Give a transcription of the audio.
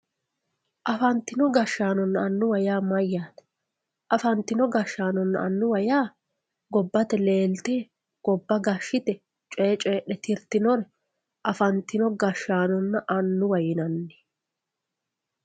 afantino gashshaanonna annuwa yaa mayaate afantino gashshaanonna annuwa yaa gobbate leelte gobba gashshite coye coyiixe tirtiyore afantino gashshaanonna annuwa yinanni.